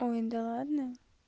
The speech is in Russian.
ой да ладно